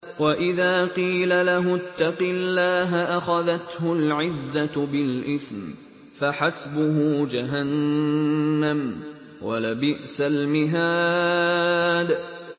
وَإِذَا قِيلَ لَهُ اتَّقِ اللَّهَ أَخَذَتْهُ الْعِزَّةُ بِالْإِثْمِ ۚ فَحَسْبُهُ جَهَنَّمُ ۚ وَلَبِئْسَ الْمِهَادُ